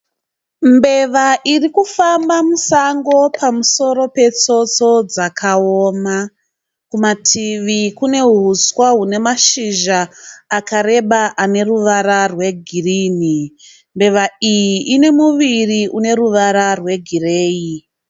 Mbeva iri kufamba musango pamusoro petsotso dzakaoma. Kumativi kune huswa hune mashizha akareba ane ruvara rwegirini. Mbeva iyi ine muviri une ruvara rwegireyi.